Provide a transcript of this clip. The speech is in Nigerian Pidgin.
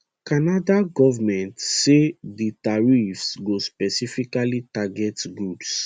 canada goment say di tariffs go specifically target goods